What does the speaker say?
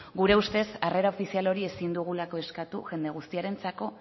gure ustez harrera ofizial hori ezin dugulako eskatu jende guztiarentzako